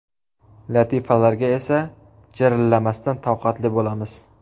Latifalarga esa jirillamasdan toqatli bo‘lamiz.